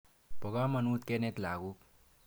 Po kamonut kenet lagok.